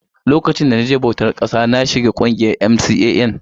Lokacin da na je bautar ƙasa na shiga ƙungiyar MCAN